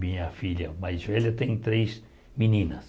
Minha filha mais velha tem três meninas.